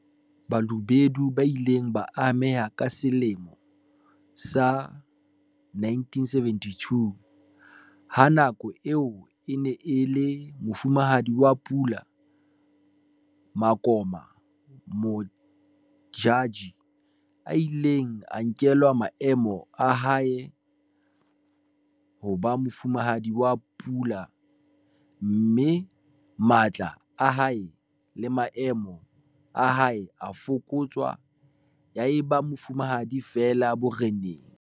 Balobedu ba ile ba ameha ka selemo sa 1972 ha ka nako eo e neng e le Mofumahadi wa Pula Makoma Modjadji a ileng a nkelwa maemo a hae a ho ba Mofumahadi wa Pula mme matla a hae le maemo a hae a fokotswa ya eba mofumahadi feela boreneng.